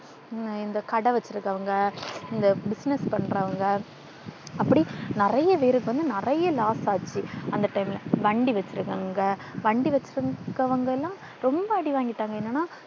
இந்த கடை வெச்சிருக்கிறவங்க, இந்த business பண்றவங்க அப்படி நிறைய பேருக்கு வந்து நிறைய loss ஆச்சு அந்த time வண்டி வச்சிருக்கிறவங்க வண்டி வச்சிருக்கிறவங்க எல்லாம் ரொம்ப அடி வாங்கிட்டாங்க. என்னன்னா.